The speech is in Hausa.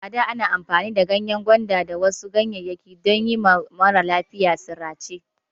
Ada ana amfani da ganyen gwanda da wasu ganyeyaki dan yima maralafiya sirace